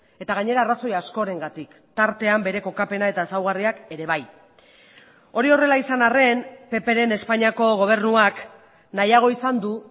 eta gainera arrazoi askorengatik tartean bere kokapena eta ezaugarriak ere bai hori horrela izan arren ppren espainiako gobernuak nahiago izan du